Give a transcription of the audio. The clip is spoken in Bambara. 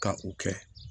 Ka u kɛ